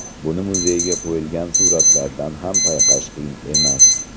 Buni muzeyga qo‘yilgan suratlardan ham payqash qiyin emas.